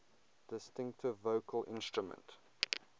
distinctive vocal instrument